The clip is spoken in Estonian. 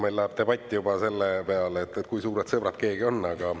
Meil läheb debatt juba selle peale, et kui suured sõbrad keegi on, aga …